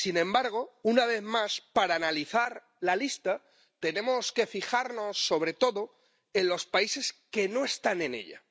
Sin embargo, una vez más, para analizar la lista tenemos que fijarnos sobre todo en los países que no están en ella.